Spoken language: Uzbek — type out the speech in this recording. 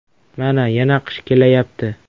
Mana, yana qish kelayapti.